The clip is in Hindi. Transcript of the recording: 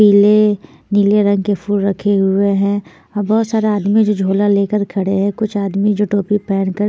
पीले नीले रंग के फूल रखे हुए हैं बहोत सारा आदमी जो झोला ले कर खड़े है कुछ आदमी जो टोपी पहन कर --